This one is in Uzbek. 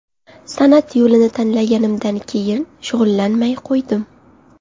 San’at yo‘lini tanlaganimdan keyin shug‘ullanmay qo‘ydim.